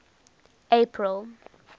april